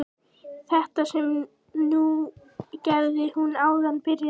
Þetta sem þú gerðir núna áðan byrjaði hann.